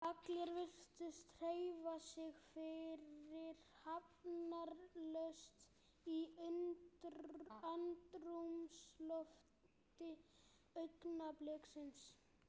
Allir virtust hreyfa sig fyrirhafnarlaust í andrúmslofti augnabliksins.